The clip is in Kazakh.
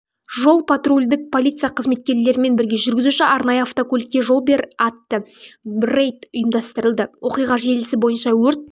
жол-патрульдік полиция қызметкерлерімен бірге жүргізуші арнайы автокөлікке жол бер атты рейд ұйымдастырылды оқиға желісі бойынша өрт